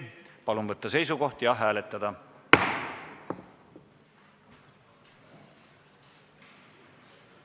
Palun võtta seisukoht ja hääletada!